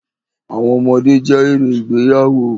Àwọn ọmọdé jẹ́ èrè ìgbéyàwó.